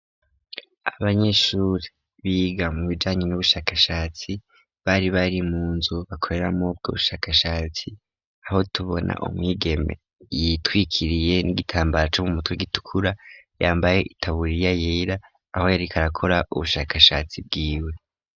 Abanyeshuri biga mu bijanye n'ubushakashatsi bari bari mu nzu bakoreramo ubwo bushakashatsi. Aho tubona umwigeme yitwikiriye n'igitambara co mu mutwe gitukura yambaye itaburiya yera aho yariko arakora ubushakashatsi bwiwe.